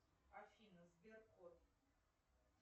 афина сберкот